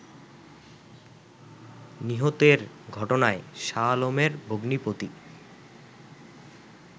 নিহতের ঘটনায় শাহ আলমের ভগ্নিপতি